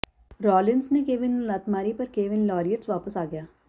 Rollins ਨੇ Kevin ਨੂੰ ਲੱਤ ਮਾਰੀ ਪਰ ਕੇਵਿਨ ਲਾਰੀਅਟਸ ਵਾਪਸ ਆ ਗਿਆ